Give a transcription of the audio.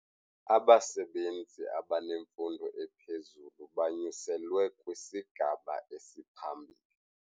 Abasebenzi abanemfundo ephezulu banyuselwe kwisigaba esiphambili.